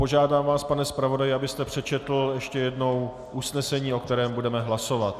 Požádám vás, pane zpravodaji, abyste přečetl ještě jednou usnesení, o kterém budeme hlasovat.